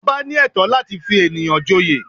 Ọba ní ẹ̀tọ́ láti fi ènìyàn joyè